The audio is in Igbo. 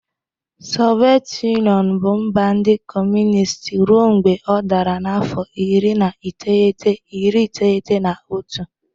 Soviet Yunịọnụ bụ mba ndị Kọmunist ruo mgbe ọ dara n'afọ iri na iteghete, iri iteghete na otu.